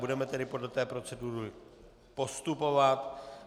Budeme tedy podle té procedury postupovat.